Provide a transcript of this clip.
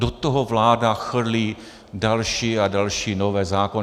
Do toho vláda chrlí další a další nové zákony.